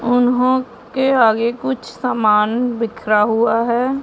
उन्होंने के आगे कुछ सामान बिखरा हुआ है।